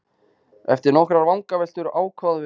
Eftir nokkrar vangaveltur ákváðum við að fara til Bigga.